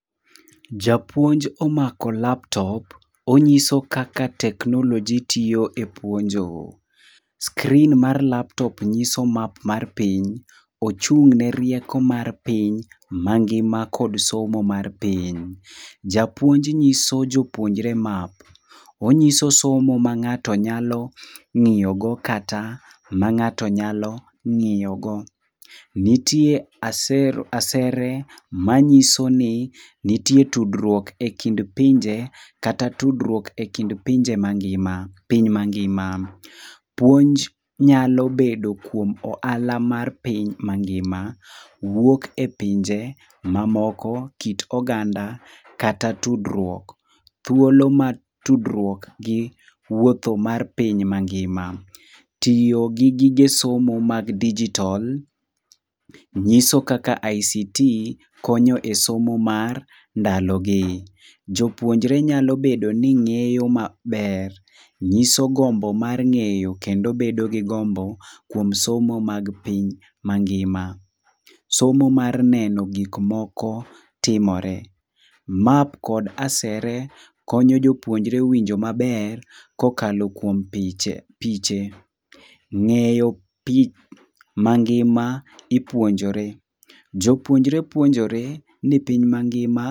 Japuonj omako laptop, onyiso kaka teknoloji tiyo e puonjo. screen mar laptop nyiso map mar piny, ochung'ne rieko mar piny mangima kod somo mar piny. Japuonj nyiso jopuonjre map. Onyiso somo ma ng'ato nyalo ng'iyogo kata ma ng'ato nyalo ng'iyogo. Nitie asere manyiso ni nitie tudruok e kind pinje kata tudruok e kind pinje mangima, piny mangima. Puonj nyalo bedo kuom ohala mar piny mangima, wuok e pinje mamoko ,kit oganda kata tudruok . Thuolo mar tudruok gi wuotho mar piny mangima. Tiyo gi gige somo mag dijitol ,nyiso kaka ICT konyo e somo mar ndalogi. Jopuonjre nyalo bedo ni ng'eyo maber. Nyiso gombo mar ng'eyo kendo bedo gi gombo kuom somo mag piny mangima. Somo mar neno gik moko, timore. map kod asere konyo jopuonjre winjo maber kokalo kuom piche . Ng'eyo piny mangima ipuonjore ,jopuonjre puonjore ni piny mangima.